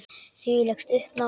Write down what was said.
Þvílíkt uppnám.